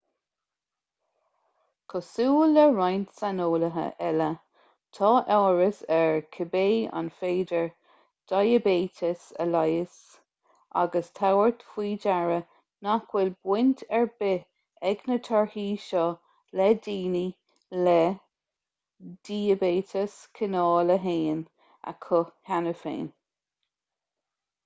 cosúil le roinnt saineolaithe eile tá amhras air cibé an féidir diaibéiteas a leigheas ag tabhairt faoi deara nach bhfuil baint ar bith ag na torthaí seo le daoine le diaibéiteas cineál 1 acu cheana féin